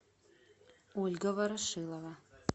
ольга ворошилова